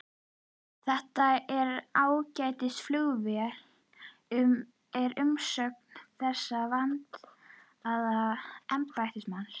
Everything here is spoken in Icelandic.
Þetta er ágætis flugvél er umsögn þessa vandaða embættismanns.